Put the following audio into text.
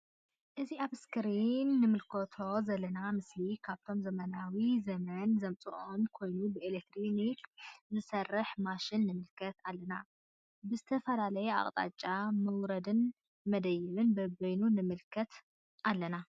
እዚ አብ እስክሪን እንምልከቶዘለና ምስሊ ካብቶም ዘመናዊ ዘመን ዘምፅኦም ኮይኑ ብኤሌትሪክ ዝሰርሕ ማሽን ንምልከት አለና::ብዝተፈላለየ አቅጣጫ መውረድን መደየብን በበይኑ ንምልከት አለና::